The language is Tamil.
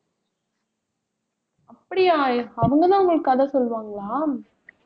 அப்படியா? அவங்கதான் உங்களுக்கு கதை சொல்லுவாங்களா